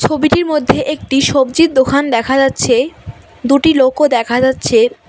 ছবিটির মধ্যে একটি সবজির দোখান দেখা যাচ্ছে দুটি লোকও দেখা যাচ্ছে।